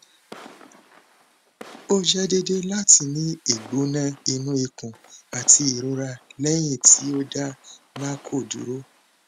o jẹ deede lati ni igbona inu ikun ati irora lẹhin ti o da narco duro